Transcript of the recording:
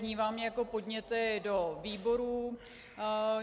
Vnímám je jako podněty do výborů.